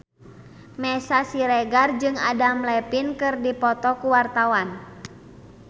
Meisya Siregar jeung Adam Levine keur dipoto ku wartawan